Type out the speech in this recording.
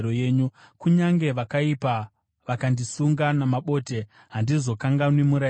Kunyange vakaipa vakandisunga namabote, handizokanganwi murayiro wenyu.